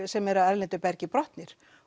sem eru af erlendu bergi brotnir